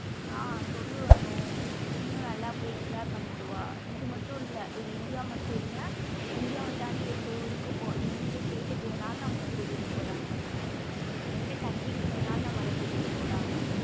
ஆஹ் சொல்லு அனு நீயும் நல்லா போயி enjoy பண்ணிட்டுவா இது மட்டும் இல்ல இது இந்தியா மட்டும் இல்ல இந்தியாவ தாண்டி எந்த ஊருக்கு போ எந்த state க்கு வேணாலும் நம்மல கூட்டிட்டு போறாங்கங்க எந்த country க்கு வேணாலும் நம்மல கூட்டிட்டு போறாங்க.